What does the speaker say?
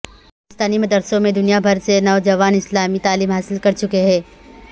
پاکستانی مدرسوں میں دنیا بھر سے نوجوان اسلامی تعلیم حاصل کر چکے ہیں